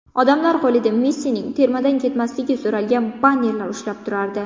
Odamlar qo‘lida Messining termadan ketmasligi so‘ralgan bannerlar ushlab turardi.